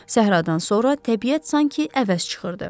Səhradan sonra təbiət sanki əvəz çıxırdı.